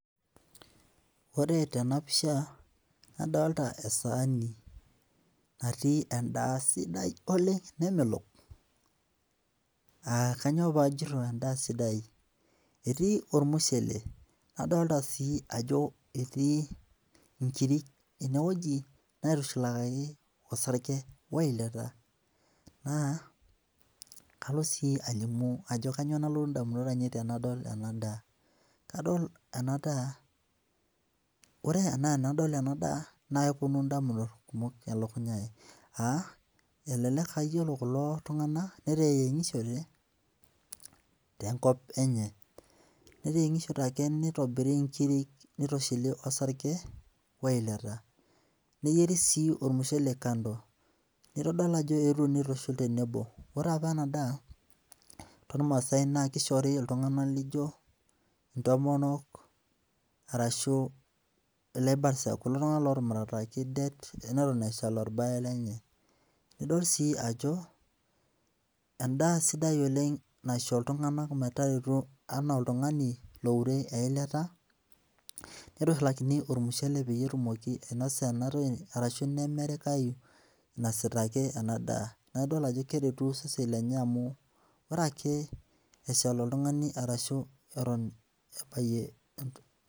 Ore tenapisha, adalta esaani natii endaa sidai oleng nemelok. Ah kanyioo pajito endaa sidai, etii ormushele, nadolta si ajo etii inkirik enewoji, naitushulakaki osarge weilata. Naa, kalo si alimu ajo kanyioo nalotu indamunot ainei tenadol enadaa. Kadol enadaa, ore enaa enadol enadaa, na keponu indamunot kumok elukunya ai. Ah elelek ayiolo kulo tung'anak, neteyieng'ishote, tenkop enye. Neteyieng'ishote ake nitobiri inkirik nitushuli osarge, weilata. Neyieri si ormushele kando. Nitodol ajo eetuo nitushul tenebo. Ore apa enadaa tormaasai na kishori iltung'anak lijo intomonok, arashu ilaibarsak, kulo tung'anak lotumurataki det eneton eshal orbae lenye. Idol si ajo, endaa sidai oleng naisho iltung'anak metareto enaa oltung'ani loure eilata, nitushulskini ormushele peyie etumoki ainasa enatoki arashu nemerikayu inasita ake enadaa. Na idol ajo keretu osesen lenye amu, ore ake eshal oltung'ani arashu eton ebayie